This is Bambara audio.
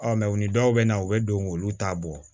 u ni dɔw bɛ na u bɛ don k'olu ta bɔ